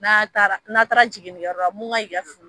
N'a taara n'a taara jiginkɛyɔrɔ la mun ka kan k'i ka